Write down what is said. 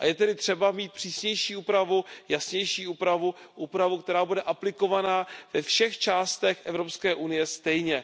A je tedy třeba mít přísnější úpravu, jasnější úpravu, úpravu, která bude aplikovaná ve všech částech EU stejně.